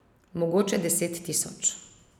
Mogoče deset tisoč.